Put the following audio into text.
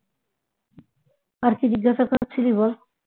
আর কি জিজ্ঞাসা করছিলি বল